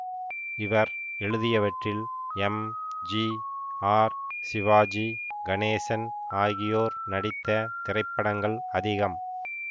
இவர் எழுதியவற்றில் M G R Sivaji Ganesan ஆகியோர் நடித்த திரைப்படங்கள் அதிகம்